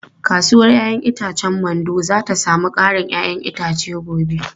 Kasuwar 'ya'yan itacen Mando za ta sami karin 'ya'yan itace gobe.